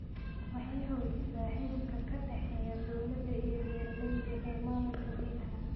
Waxay xoojisaa xidhiidhka ka dhexeeya dawladda iyo beeralayda ee maamulka biyaha.